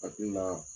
Hakili la